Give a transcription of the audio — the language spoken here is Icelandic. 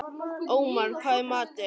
Ómar, hvað er í matinn?